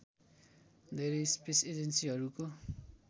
धेरै स्पेस एजेन्सीहरूको